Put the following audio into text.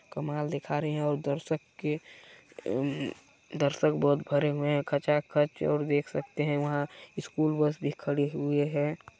कमाल दिखा रहे हैंऔर दर्शक के अम्म्म दर्शक बहोत भरे हुए हैं खचाखच और देख सकते है वहाँ स्कूल बस भी खड़ी हुई है।